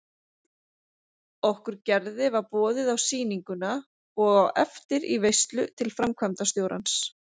Okkur Gerði var boðið á sýninguna og á eftir í veislu til framkvæmdastjórans.